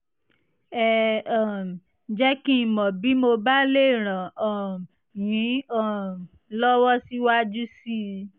ẹ um jẹ́ kí n mọ̀ bí mo bá lè ràn um yín um lọ́wọ́ síwájú sí i